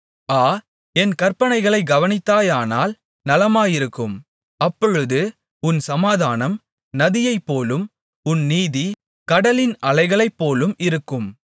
ஆ என் கற்பனைகளைக் கவனித்தாயானால் நலமாயிருக்கும் அப்பொழுது உன் சமாதானம் நதியைப்போலும் உன் நீதி கடலின் அலைகளைப்போலும் இருக்கும்